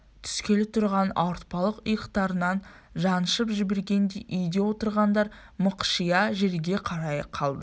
түскелі тұрған ауыртпалық иықтарынан жаншып жібергендей үйде отырғандар мықшия жерге қарай қалды